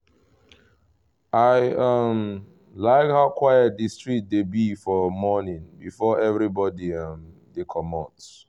i um like how quiet the street dey be for morning before everybody um dey commot